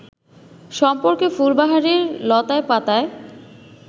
সম্পর্কে ফুলবাহারির লতায় পাতায়